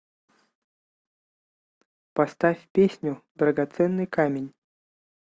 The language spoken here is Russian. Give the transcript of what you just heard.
поставь песню драгоценный камень